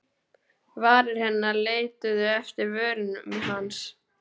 Varir hennar leituðu eftir vörum hans.